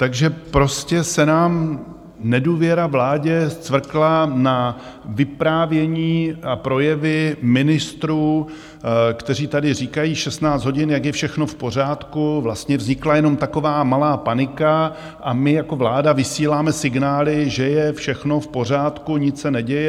Takže prostě se nám nedůvěra vládě scvrkla na vyprávění a projevy ministrů, kteří tady říkají 16 hodin, jak je všechno v pořádku, vlastně vznikla jenom taková malá panika a my jako vláda vysíláme signály, že je všechno v pořádku, nic se neděje.